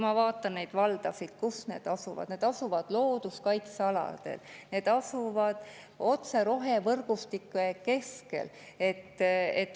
Vaatame neid valdasid, kus need asuvad: need asuvad looduskaitsealadel, need asuvad otse rohevõrgustike keskel.